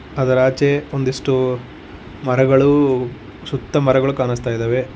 ಅದರಾಚೆ ಒಂದಿಷ್ಟು ಮರಗಳು ಸುತ್ತ ಮರಗಳು ಕಾಣಿಸ್ತಾ ಇದಾವೆ.